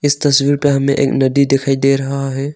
इस तस्वीर पे हमें एक नदी दिखाई दे रहा है।